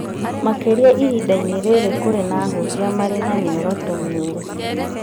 Makĩria ihinda-inĩ rĩrĩ kũrĩ na ahunjia marĩ na mĩoroto mĩũru